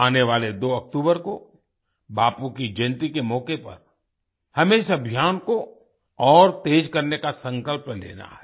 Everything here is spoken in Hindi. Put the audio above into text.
आने वाले 2 अक्टूबर को बापू की जयन्ती के मौके पर हमें इस अभियान को और तेज करने का संकल्प लेना है